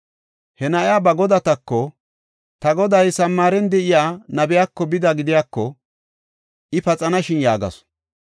He na7iya ba godateko, “Ta goday Samaaren de7iya nabiyako bida gidiyako, I paxanashin” yaagasu.